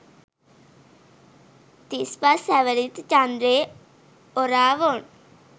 තිස්පස් හැවිරිදි චන්ද්‍රේ ඔරාවොන්